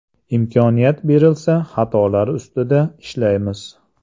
Imkoniyat berilsa xatolar ustida ishlaymiz.